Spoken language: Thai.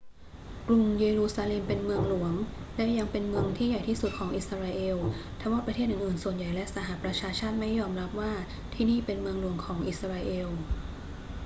กรุงเยรูซาเล็มเป็นเมืองหลวง และยังเป็นเมืองที่ใหญ่ที่สุดของอิสราเอล ทว่าประเทศอื่น ๆ ส่วนใหญ่และสหประชาชาติไม่ยอมรับว่าที่นี่เป็นเมืองหลวงของอิสราเอล